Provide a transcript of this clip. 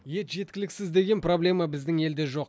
ет жеткіліксіз деген проблема біздің елде жоқ